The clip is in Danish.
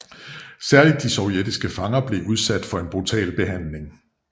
Særligt de sovjetiske fanger blev udsat for en brutal behandling